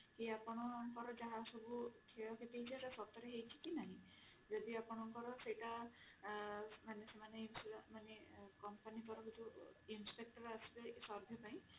କି ଆପଣଙ୍କର ଯାହା ସବୁ କ୍ଷତି ହେଇଛି ସେଟା ସତରେ ହେଇଛି କି ନାହିଁ ଯଦି ଆପଣଙ୍କର ସେଇଟା ମାନେ ସେମାନେ insurance ମାନେ company ତରଫରୁ inspector ଆସିବେ survey ପାଇଁ